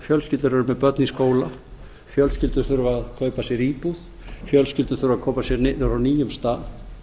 eru með börn í skóla fjölskyldur þurfa að kaupa sér íbúð fjölskyldur þurfa að koma sér niður á nýjum stað